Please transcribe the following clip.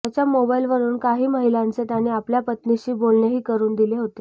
त्याच्या मोबाईलवरून काही महिलांचे त्याने आपल्या पत्नीशी बोलणेही करून दिले होते